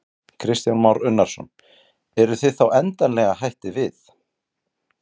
Kristján Már Unnarsson: Eruð þið þá endanlega hættir við?